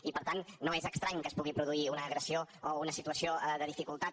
i per tant no és estrany que es pugui produir una agressió o una situació de dificultat